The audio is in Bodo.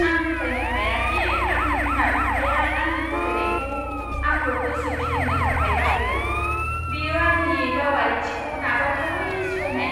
आं फोथायनो हाया दि आंनि बिमा बिफाया आंनि फोथायनायखौ आंखौ गोसो फिदिंनो थाखाय बाहायगोन। बेयो आंनि गावारिथिखौ नाजावथावै सिफायनाय।